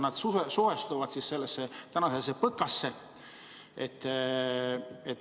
Kuidas nad suhestuvad selle PõKaga?